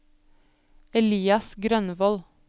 Elias Grønvold